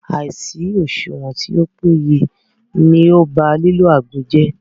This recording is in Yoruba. Àìsí òṣùwọ̀n tí o péye ní o bá lílo àgbo jẹ́.